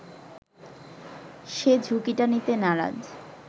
সে ঝুঁকিটা নিতে নারাজ